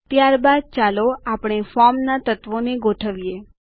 ત્યારબાદ ચાલો આપણે ફોર્મના તત્વોને ગોઠવીએ